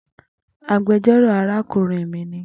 Agbẹjọro arakunrin mi ni